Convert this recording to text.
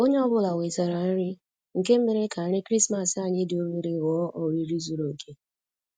Onye ọ bụla wetara nri, nke mere ka nri krismas anyị dị obere ghọọ oriri zuru oke